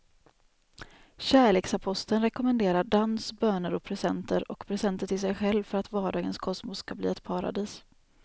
Kärleksaposteln rekommenderar dans, böner och presenter och presenter till sig själv för att vardagens kosmos ska bli ett paradis.